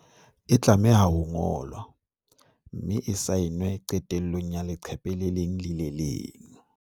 E tlameha ho ngolwa, mme e saenwe qetellong ya le qephe le leng le le leng.